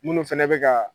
Minnu fɛnɛ bɛ ka